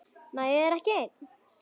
Nægði þér ekki ein?